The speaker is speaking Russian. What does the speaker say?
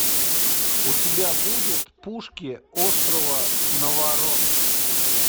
у тебя будет пушки острова наварон